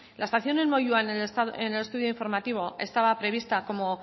la estación en moyua en el estudio informativo estaba prevista como